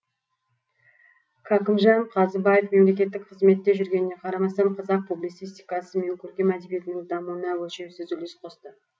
кәкімжан қазыбаев мемлекеттік қызметте жүргеніне қарамастан қазақ публицистикасы мен көркем әдебиетінің дамуына өлшеусіз үлес қосты